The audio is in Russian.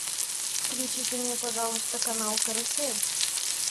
включите мне пожалуйста канал карусель